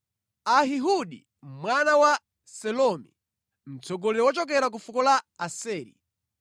Ahihudi mwana wa Selomi, mtsogoleri wochokera ku fuko la Aseri;